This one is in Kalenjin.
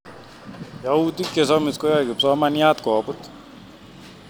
Youtik chesomis koyoe kipsomaniat koput